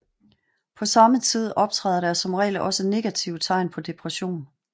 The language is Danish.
På samme tid optræder der som regel også negative tegn på depression